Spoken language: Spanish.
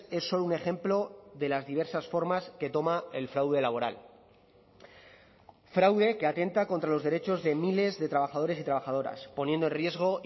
es solo un ejemplo de las diversas formas que toma el fraude laboral fraude que atenta contra los derechos de miles de trabajadores y trabajadoras poniendo riesgo